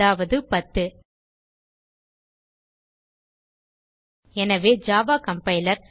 அதாவது10 எனவே Java compiler